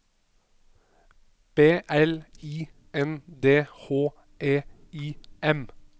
B L I N D H E I M